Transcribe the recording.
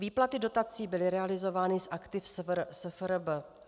Výplaty dotací byly realizovány z aktiv SFRB.